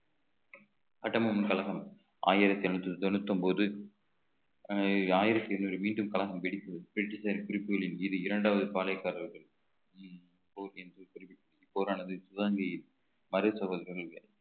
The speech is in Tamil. கட்டபொம்மன் கழகம் ஆயிரத்தி எண்ணூத்தி தொண்ணூத்தி ஒன்பது அஹ் ஆயிரத்தி எண்ணூறு மீண்டும் கழகம் வெடிப்பு பிரிட்டிஷ் குறிப்புகளின் மீது இரண்டாவது பாளையக்காரர்கள் உம் போரானது